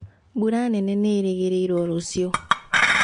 Mbura nene nĩĩrĩgĩrĩrwo rũciũ